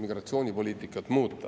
migratsioonipoliitikat muuta.